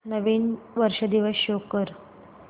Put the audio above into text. नवीन वर्ष दिवस शो कर